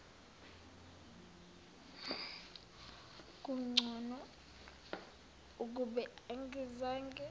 kungcono ukube angizange